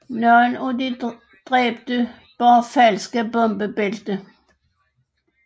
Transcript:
Nogle af de dræbte bar falske bombebælter